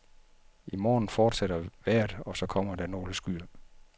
I morgen fortsætter vejret, og så kommer der nogle skyer.